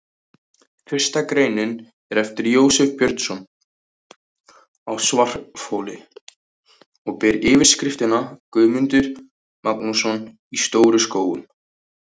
Fyrsta greinin er eftir Jósef Björnsson á Svarfhóli og ber yfirskriftina: Guðmundur Magnússon í Stóru-Skógum.